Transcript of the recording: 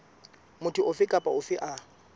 motho ofe kapa ofe a